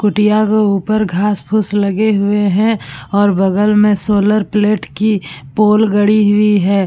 कुटिया क ऊपर घास फूस लगे हुए है और बगल में सोलर प्लेट की पोल गड़ी हुई है।